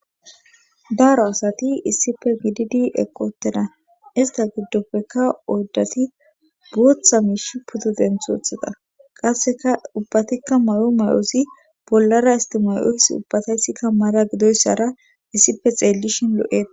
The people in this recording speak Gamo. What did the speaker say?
daro asati issife gididi eqoteda ista giddopfeka oyddati bootha miish putodenthothada qasseka ubbatikka may7o may7oosi bollara istimayoos ubbataysikka mara gidoyssara issife xeellishin lo7e